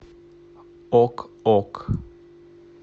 ок ок